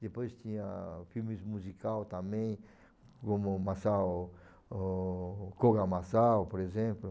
Depois tinha filmes musical também, como o Masao, o Koga Masao, por exemplo.